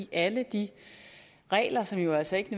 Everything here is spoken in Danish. alle de regler som jo altså ikke